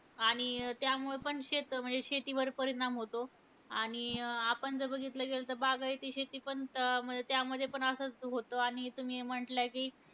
आणि त्यामुळं पण शेत म्हणजे शेतीवर परिणाम होतो. आणि आपण जर बघितलं गेलं तर बागायती शेती पण, त त्यामध्ये पण असंच होतं. आणि तुम्ही म्हणल्या की,